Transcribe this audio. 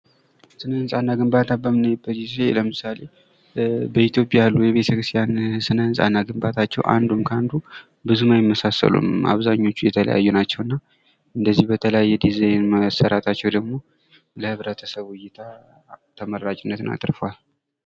ስነ-ህንጻ እና ግንባታን በምናይበት ጊዜ ለምሳሌ በኢትዮጵያ ካሉ ቤተክስቲያን መካክለ ብዙም አይመሳሰሉም። አንዱን ከአንዱ ግንበኞች የተለያዩ ናቸው።